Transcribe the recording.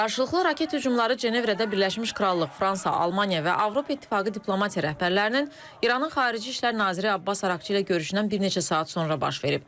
Qarşılıqlı raket hücumları Cenevrədə Birləşmiş Krallıq, Fransa, Almaniya və Avropa İttifaqı diplomatiya rəhbərlərinin İranın Xarici İşlər naziri Abbas Araqçı ilə görüşündən bir neçə saat sonra baş verib.